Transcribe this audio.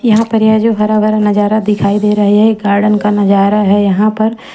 यहां पर यह जो हरा भरा नजारा दिखाई दे रहा है यह ये गार्डन का नजारा है यहां पर--